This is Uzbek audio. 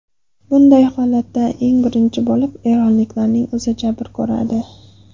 Bunday holatda eng birinchi bo‘lib eronliklarning o‘zi jabr ko‘radi.